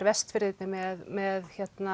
Vestfirði með með